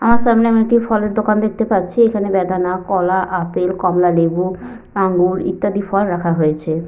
আমার সামনে আমি একটি ফলের দোকান দেখতে পাচ্ছি। এখানে বেদনা কলা আপেল কমলা লেবু আঙুর ইত্যাদি ফল রাখা হয়েছে।